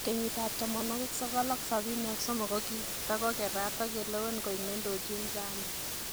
Kenyitab 1973 kokito kokerat okelewen koik nedochin ZANU.